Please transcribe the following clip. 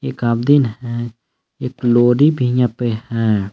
एक आमदिन है एक लोरी पे हैं।